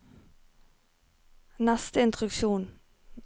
neste instruksjon